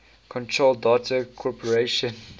control data corporation